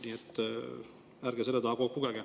Nii et ärge selle taha kogu aeg pugege.